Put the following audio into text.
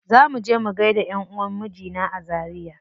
Za muje mu gaida ƴanʼuwan mijina a zaria.